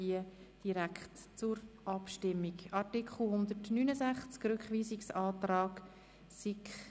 Wir stimmen über den Rückweisungsantrag ab.